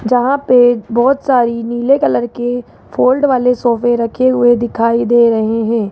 जहां पे बहोत सारी नीले कलर के फोल्ड वाले सोफे रखे हुए दिखाई दे रहे हैं।